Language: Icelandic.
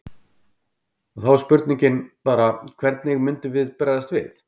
Og þá er spurningin bara hvernig myndi það bregðast við?